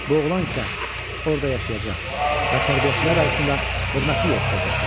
Bu oğlan isə orda yaşayacaq və tərbiyəçilər arasında hörmətli yer tutacaqdır.